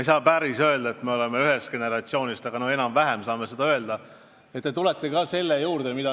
Ei saa päris öelda, et me oleme ühest generatsioonist, aga enam-vähem siiski, ja ma arvasin, et tulete selle teema juurde.